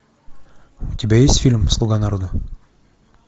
у тебя есть фильм слуга народа